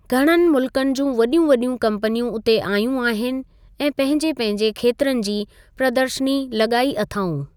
घणनि मुल्कनि जूं वॾियूं वॾियूं कंपनियूं उते आहियूं आहिनि ऐं पंहिंजे पंहिजे खेत्रनि जी प्रदर्शनी लॻाई अथाऊं।